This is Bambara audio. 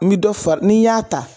Ni dɔ fa n'i y'a ta